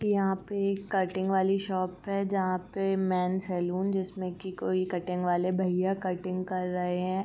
यहाँ पे एक कटिंग वाली शॉप है। जहाँ पे मैन सैलून जिसमें कि कोई कटिंग वाले भईया कटिंग कर रहे हैं।